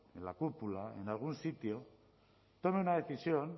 en la cúpula en algún sitio tome una decisión